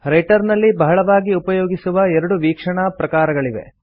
writer ನಲ್ಲಿ ಬಹಳವಾಗಿ ಉಪಯೋಗಿಸುವ ಎರಡು ವೀಕ್ಷಣಾ ಪ್ರಕಾರಗಳಿವೆ